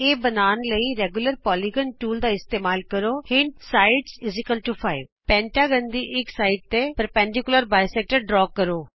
ਇਹ ਪੰਜਭੁਜ ਬਣਾਉਣ ਲਈ ਰੈਗੂਲਰ ਪੌਲੀਗਨ ਟੂਲ ਦਾ ਇਸਤੇਮਾਲ ਕਰੋਹਿੰਟ ਸਾਈਡਜ਼5 ਪੰਜਭੁਜ ਦੇ ਕਿਸੀ ਇਕ ਹਿੱਸੇ ਤੇ ਦੋਭਾਜਕ ਬਣਾਉ